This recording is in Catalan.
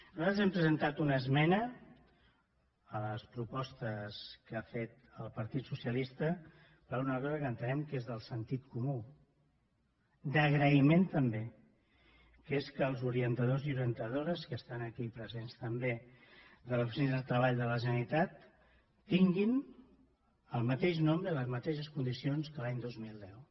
nosaltres hem presentat una esmena a les propostes que ha fet el partit socialista per una cosa que entenem que és del sentit comú d’agraïment també que és que els orientadors i orientadores que estan aquí presents també de les oficines de treball de la generalitat tinguin el mateix nombre i les mateixes condicions que l’any dos mil deu